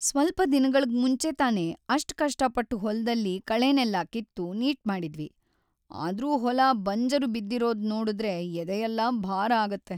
ಸ್ವಲ್ಪ ದಿನಗಳ್ಗ್‌ ಮುಂಚೆ ತಾನೇ ಅಷ್ಟ್‌ ಕಷ್ಟಪಟ್ಟು ಹೊಲದಲ್ಲಿ ಕಳೆನೆಲ್ಲ ಕಿತ್ತು ನೀಟ್‌ ಮಾಡಿದ್ವಿ, ಆದ್ರೂ ಹೊಲ ಬಂಜರು ಬಿದ್ದಿರೋದ್ನೋಡುದ್ರೆ ಎದೆಯೆಲ್ಲ ಭಾರ ಆಗತ್ತೆ.